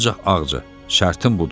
Ancaq Ağca, şərtim budur.